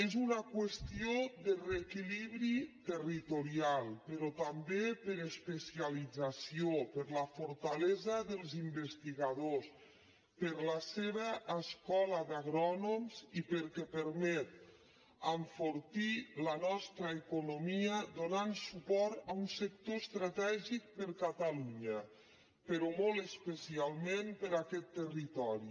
és una qüestió de reequilibri territorial però també per especialització per la fortalesa dels investigadors per la seva escola d’agrònoms i perquè permet enfortir la nostra economia donant suport a un sector estratègic per a catalunya però molt especialment per a aquest territori